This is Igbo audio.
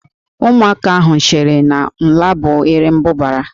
Ụmụaka ahụ cheere na Ǹlá bụ Erembụbara